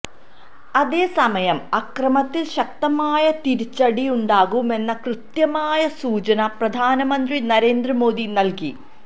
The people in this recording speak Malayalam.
അതേസമയം അക്രമത്തില് ശക്തമായ തിരിച്ചടിയുണ്ടാകുമെന്ന കൃത്യമായ സൂചന പ്രധാനമന്ത്രി നരേന്ദ്രമോദി നല്കി